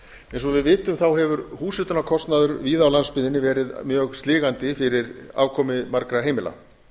eins og við vitum hefur húshitunarkostnaður víða á landsbyggðinni verið mjög sligandi fyrir afkomu margra heimila